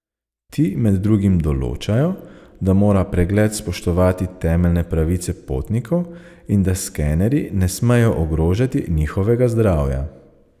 Ti med drugim določajo, da mora pregled spoštovati temeljne pravice potnikov in da skenerji ne smejo ogrožati njihovega zdravja.